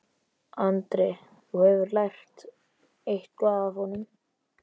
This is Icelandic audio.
Andri: Þú hefur lært eitthvað af honum?